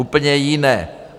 Úplně jiné!